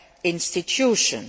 institutions.